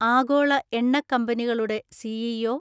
ആഗോള എണ്ണക്കമ്പനികളുടെ സി.ഇ.ഒ.